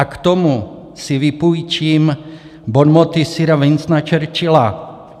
A k tomu si vypůjčím bonmoty sira Winstona Churchilla.